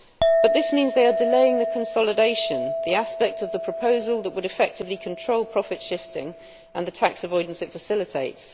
But this means they are delaying the consolidation, the aspect of the proposal that would effectively control profit shifting and the tax avoidance it facilitates.